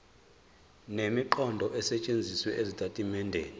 nemiqondo esetshenzisiwe ezitatimendeni